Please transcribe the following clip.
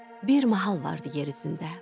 Bir mahal vardı yer üzündə.